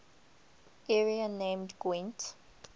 area named gwent